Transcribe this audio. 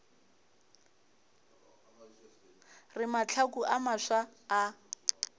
re mahlaku a mafsa a